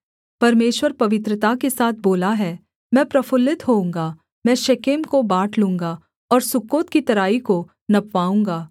परमेश्वर पवित्रता के साथ बोला है मैं प्रफुल्लित होऊँगा मैं शेकेम को बाँट लूँगा और सुक्कोत की तराई को नपवाऊँगा